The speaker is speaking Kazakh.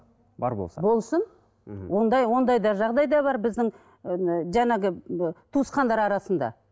бар болса болсын мхм ондай ондай да жағдай да бар біздің ыыы жаңағы туысқандар арасында